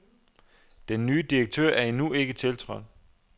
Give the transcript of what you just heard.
Den nye direktør er endnu ikke tiltrådt.